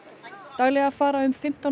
daglega fara fimmtán